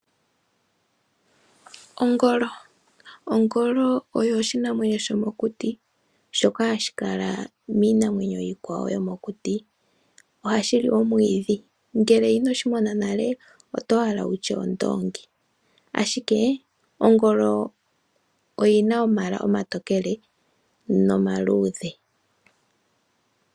Ongolo, ongolo oyo oshinamwenyo shomokuti shoka hashi kala miinamwenyo iikwawo yo mokuti. Ohashi li omwiidhi, ngele inoshi mona nale oto hala wutye ondoongi ashike Ongolo oyina omayala omatokele no maluudhe.